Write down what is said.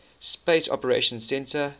space operations centre